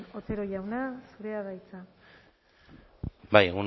otero jauna zurea da hitza bai